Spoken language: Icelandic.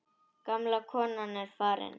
Gamla konan er farin.